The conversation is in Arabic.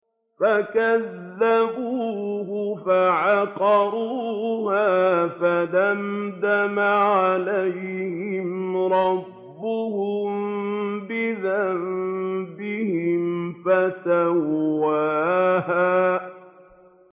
فَكَذَّبُوهُ فَعَقَرُوهَا فَدَمْدَمَ عَلَيْهِمْ رَبُّهُم بِذَنبِهِمْ فَسَوَّاهَا